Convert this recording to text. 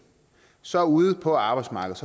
så ude på arbejdsmarkedet